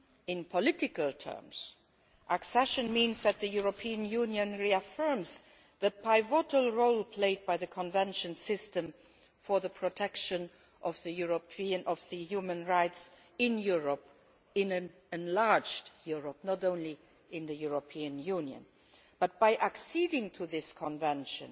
In political terms accession means that the European Union reaffirms the pivotal role played by the Convention's system for the protection of human rights in Europe in an enlarged Europe, not only in the European Union but by acceding to this Convention